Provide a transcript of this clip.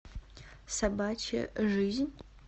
собачья жизнь